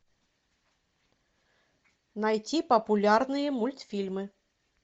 найти популярные мультфильмы